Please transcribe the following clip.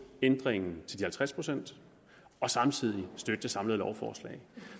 ændringen til de halvtreds procent og samtidig støtte det samlede lovforslag